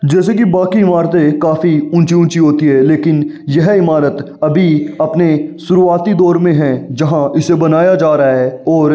जैसे की बाकी इमारत काफी ऊँची ऊँची होती हैं लेकिन यह इमारत अभी अपने शुरुवती दौर में है। जहाँ इसे बनाया जा रहा है और --